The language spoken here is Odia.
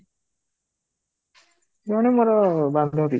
ଜଣ ମୋର ବାନ୍ଧବୀ